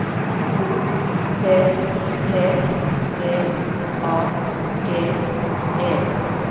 O P P D A G E